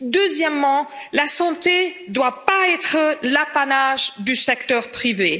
Deuxièmement, la santé ne doit pas être l'apanage du secteur privé.